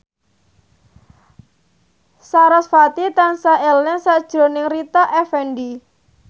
sarasvati tansah eling sakjroning Rita Effendy